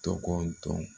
Tɔgɔ dɔn